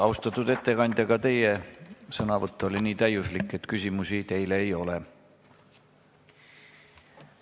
Austatud ettekandja, ka teie sõnavõtt oli nii täiuslik, et küsimusi teile ei ole.